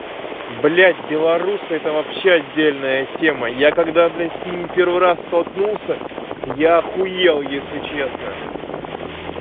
блять белорусы это вообще отдельная тема я когда блять с ними первый раз столкнулся я ахуел если честно